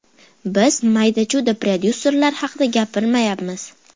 Biz mayda-chuyda prodyuserlar haqida gapirmayapmiz.